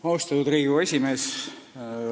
Austatud Riigikogu esimees!